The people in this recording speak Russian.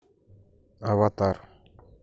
аватар